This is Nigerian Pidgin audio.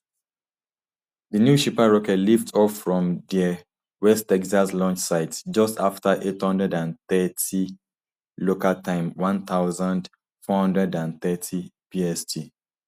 di new shepard rocket lift off from dia west texas launch site just afta eight hundred and thirty local time one thousand, four hundred and thirty bst